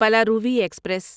Palaruvi express